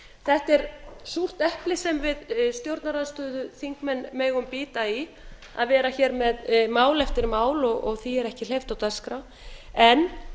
þetta er súrt epli sem við stjórnarandstöðuþingmenn megum bíta í að vera hér með mál eftir mál og því er ekki hleypt á dagskrá en